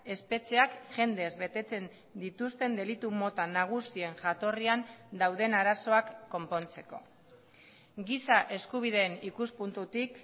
espetxeak jendez betetzen dituzten delitu mota nagusien jatorrian dauden arazoak konpontzeko giza eskubideen ikuspuntutik